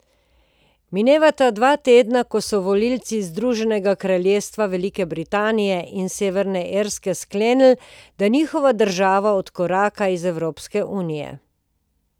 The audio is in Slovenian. Minevata dva tedna, ko so volivci Združenega kraljestva Velike Britanije in Severne Irske sklenili, da njihova država odkoraka iz Evropske unije.